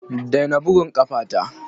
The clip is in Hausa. Daina bugun ƙafata!